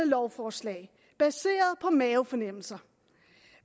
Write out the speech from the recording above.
lovforslag baseret på mavefornemmelser